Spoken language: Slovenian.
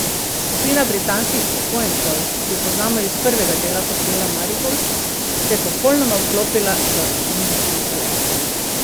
Skupina britanskih upokojencev, ki jo poznamo iz prvega dela hotela Marigold, se je popolnoma vklopila v indijsko življenje.